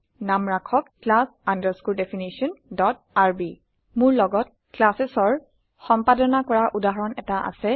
নাম ৰাখক class definitionrb মোৰ লগত classesৰ সম্পাদনা কৰা উদাহৰণ এটা আছে